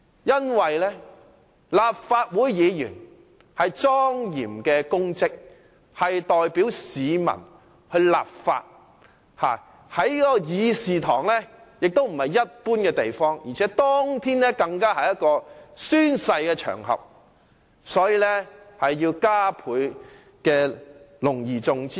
因為立法會議員是莊嚴的公職，代表市民立法；而會議廳亦不是一般的地方，當天的會議廳更是宣誓的場合，應要加倍隆而重之對待。